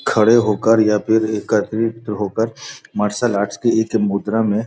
खड़े हो कर या एकत्रित हो कर मार्सल आर्ट्स की मुद्रा में।